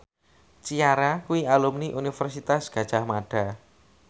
Ciara kuwi alumni Universitas Gadjah Mada